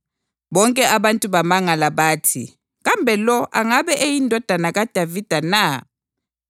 Bonke abantu bamangala bathi, “Kambe lo angabe eyiNdodana kaDavida na?”